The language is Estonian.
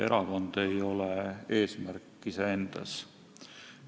Erakond ei ole eesmärk iseendast.